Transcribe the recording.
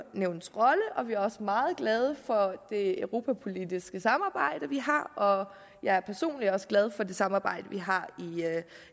nævnets rolle og vi er også meget glade for det europapolitiske samarbejde vi har og jeg er personligt også glad for det samarbejde vi har